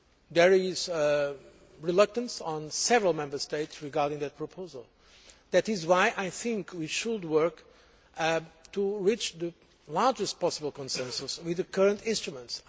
There is reluctance on the part of several Member States regarding that proposal. That is why I think we should work to reach the largest possible consensus with the current instruments.